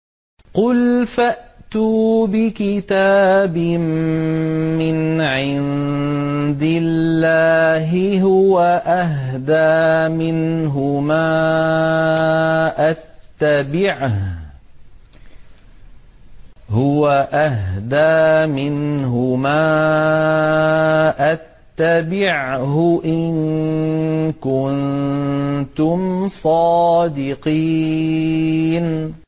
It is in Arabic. قُلْ فَأْتُوا بِكِتَابٍ مِّنْ عِندِ اللَّهِ هُوَ أَهْدَىٰ مِنْهُمَا أَتَّبِعْهُ إِن كُنتُمْ صَادِقِينَ